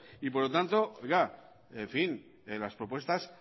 por lo tanto las propuestas